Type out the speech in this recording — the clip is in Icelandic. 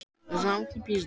En núna er það öðruvísi.